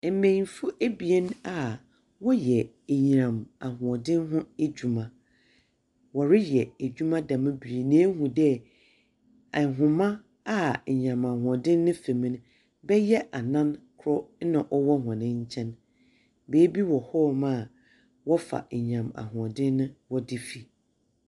Mbenyimfo abien a wɔyɛ anyinam ahoɔden ho adwuma. Wɔreyɛ adwuma dɛm bere yi na ehu dɛ, ahoma a anyinam ahoɔden ne fa mu no bɛyɛ anan kor na ɔwɔ hɔn nkyɛn. Baabi hɔ wɔfa anyinam ahoɔɔden wɔde fi.